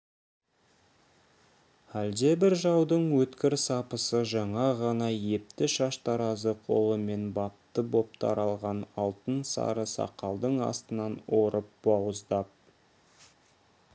әлдебір жаудың өткір сапысы жаңа ғана епті шаштаразы қолымен бапты боп таралған алтын сары сақалдың астынан орып бауыздап